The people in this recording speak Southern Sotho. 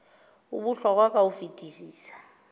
o bohlokwa ka ho fetisisa